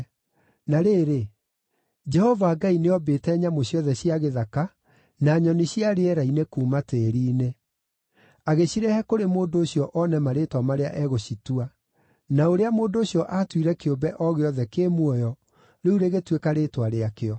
Na rĩrĩ, Jehova Ngai nĩ oombĩte nyamũ ciothe cia gĩthaka na nyoni cia rĩera-inĩ kuuma tĩĩri-inĩ. Agĩcirehe kũrĩ mũndũ ũcio one marĩĩtwa marĩa egũcitua; na ũrĩa mũndũ ũcio aatuire kĩũmbe o gĩothe kĩ muoyo, rĩu rĩgĩtuĩka rĩĩtwa rĩakĩo.